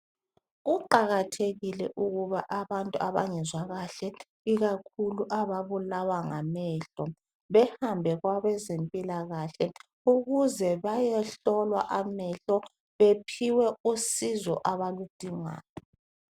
kuqakathekile ukuba abantu abangezwa kahle ikakhulu ababulawa ngamehlo behambe kwabezempilakahle ukuze bayehlolwa amehlo baphiwe usizo abaludingayo